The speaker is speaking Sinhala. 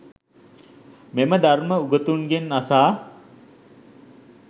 මෙම ධර්‍ම උගතුන්ගෙන් අසා